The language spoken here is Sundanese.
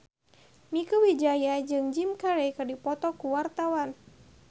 Mieke Wijaya jeung Jim Carey keur dipoto ku wartawan